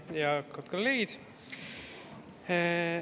Hea juhataja ja kolleegid!